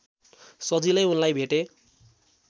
सजिलै उनलाई भेटे